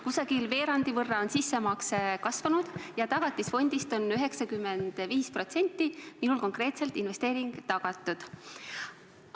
Sissemakse on kasvanud umbes veerandi võrra ja tagatisfondist on minul konkreetselt investeering tagatud 95% ulatuses.